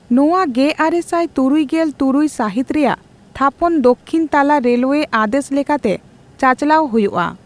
ᱱᱚᱣᱟ ᱜᱮᱨᱟᱨᱮᱥᱟᱭ ᱛᱩᱨᱩᱭ ᱜᱮᱞ ᱛᱩᱨᱩᱭ ᱥᱟᱹᱦᱤᱛ ᱨᱮᱭᱟᱜ ᱛᱷᱟᱯᱚᱱ ᱫᱚᱠᱷᱤᱱ ᱛᱟᱞᱟ ᱨᱮᱞᱣᱮ ᱟᱫᱮᱥ ᱞᱮᱠᱟᱛᱮ ᱪᱟᱼᱪᱟᱞᱟᱣ ᱦᱳᱭᱳᱜᱼᱟ ᱾